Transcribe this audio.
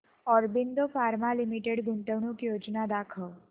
Aurobindo pharma limited गुंतवणूक योजना दाखव